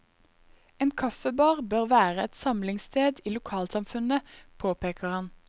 En kaffebar bør være et samlingssted i lokalsamfunnet, påpeker han.